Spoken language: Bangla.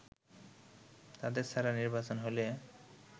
তাদের ছাড়া নির্বাচন হলে